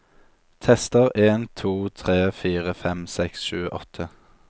Tester en to tre fire fem seks sju åtte